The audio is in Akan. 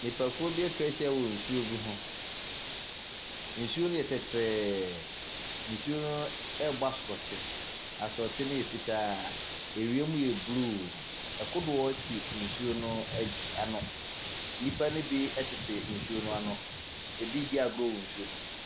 Nnipa kuo bi atwa ahyia wɔ nsuo bi ho, nsuo ne yɛ tɛtrɛɛ, nsuo no ɛɛbɔ asrɔkye, asrɔkye no yɛ fitaa. Ewiem yɛ bluu, ɛkodoɔ si nsuo no ano. Nnipa no bi ɛtete nsuo no ano, ebii di agrɔ wɔ nsuo no mu.